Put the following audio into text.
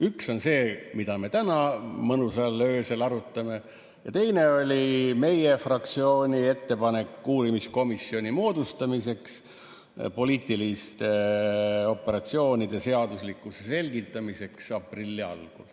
Üks oli see, mida me täna mõnusalt öösel arutame, ja teine oli meie fraktsiooni ettepanek moodustada uurimiskomisjon poliitiliste operatsioonide seaduslikkuse selgitamiseks.